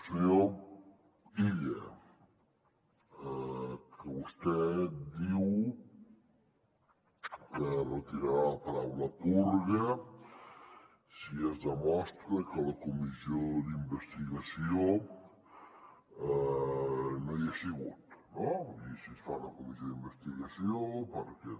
senyor illa que vostè diu que retirarà la paraula purga si es demostra que a la comissió d’investigació no hi ha sigut no vull dir si es fa una comissió d’investigació perquè